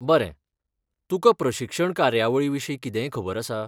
बरें, तुका प्रशिक्षण कार्यावळीविशीं कितेंय खबर आसा?